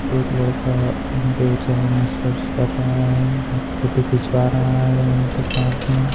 एक लड़का उनके चरण स्पर्श कर रहा है और फोटो खिंचवा रहा है उनके साथ में।